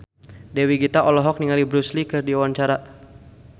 Dewi Gita olohok ningali Bruce Lee keur diwawancara